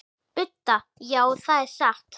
Budda: Já, það er satt.